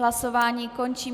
Hlasování končím.